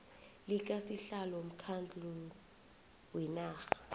likasihlalo womkhandlu wenarha